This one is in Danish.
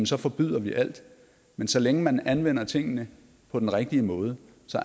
så forbyder vi alt men så længe man anvender tingene på den rigtige måde